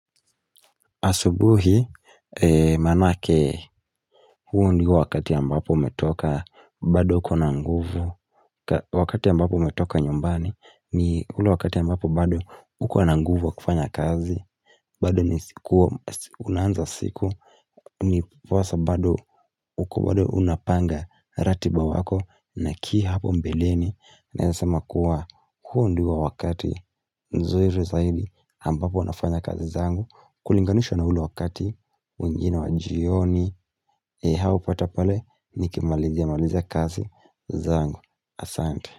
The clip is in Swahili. Asubuhi, manake, huo ndio wakati ambapo umetoka, bado uko na nguvu, wakati ambapo umetoka nyumbani, ni ule wakati ambapo bado uko na nguvu wa kufanya kazi, bado ni siku unaanza siku, ndiposa bado uko unapanga ratiba wako, na kii hapo mbeleni, naweza sema kuwa, huo ndio wakati, nzuri zaidi ambapo nafanya kazi zangu, kulinganishwa na ule wakati, wengine wa jioni haupata pale nikimalizia malizia kazi zangu, asante.